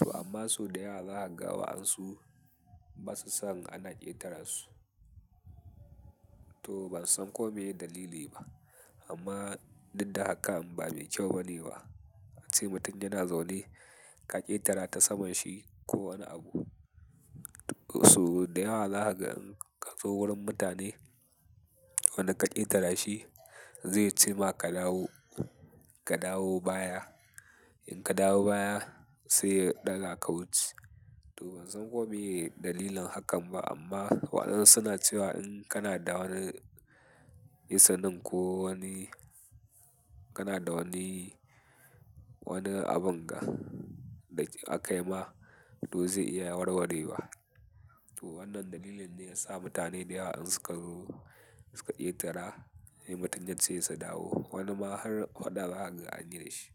To amma sau da yawa zaka ga wa ansu basa son ana ƙetara su. To ban san ko meye dalili ba amma dinda hakan ba mai kyau bane ba. A ce mutum yana zaune ka ƙetara ta saman shi ko wani abu. Sau da yawa haka in ka zo wurin mutane wanda ka ƙetara shi zai ce ma ka dawo, ka dawo baya. In ka dawo baya sai ɗaga ka wuce. To ban san ko meye dalilin hakan ba amma wa ansu na cewa in kana da wani isanin ko wani, kana da wani, wani abun da aka yi ma to zai iya warwarewa. To wannan dalilin ne ya sa mutane da yawa in suka zo, suka ƙetara, sai mutum ya ce su dawo. Wani ma har waɗa zaka ga an yi da shi.